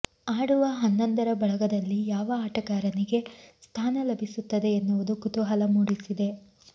ಆಡುವ ಹನ್ನೊಂದರ ಬಳಗದಲ್ಲಿ ಯಾವ ಆಟಗಾರನಿಗೆ ಸ್ಥಾನ ಲಭಿಸುತ್ತದೆ ಎನ್ನುವುದು ಕುತೂಹಲ ಮೂಡಿಸಿದೆ